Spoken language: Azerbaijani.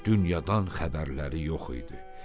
Dünyadan xəbərləri yox idi.